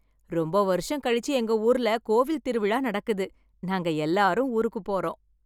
ரொம்ப வருஷம் கழிச்சு எங்க ஊர்ல கோவில் திருவிழா நடக்குது நாங்க எல்லாரும் ஊருக்கு போறோம்.